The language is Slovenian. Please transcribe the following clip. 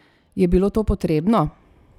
Je bilo to potrebno?